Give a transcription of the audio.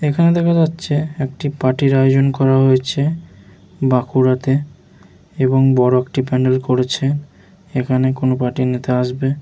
এখানে দেখ যাচ্ছে একটি পার্টি র আয়োজন করা হয়েছে বাঁকুড়াতে এবং বড় একটি প্যান্ডেল করেছে এখানে কোনো পার্টির নেতা আসবে।